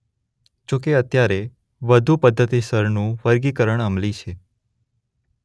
જો કે અત્યારે વધુ પદ્ધતિસરનું વર્ગીકરણ અમલી છે.